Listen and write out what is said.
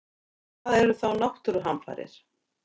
En hvað eru þá náttúruhamfarir?